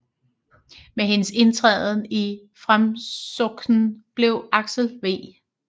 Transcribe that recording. Med hendes indtræden i Framsókn blev Aksel V